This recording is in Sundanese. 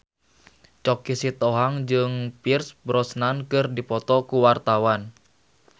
Choky Sitohang jeung Pierce Brosnan keur dipoto ku wartawan